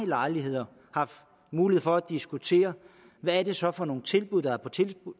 lejligheder haft mulighed for at diskutere hvad det så er for nogle tilbud der er på